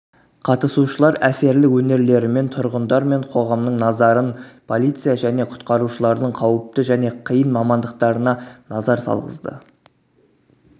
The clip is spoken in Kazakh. қатысушылар әсерлі өнерлерімен тұрғындар мен қоғамның назарын полиция және құтқарушылардың қауіпті және қиын мамандықтарына назар салғызды